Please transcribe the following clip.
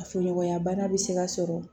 Fuɲɔgɔnya bana bɛ se ka sɔrɔ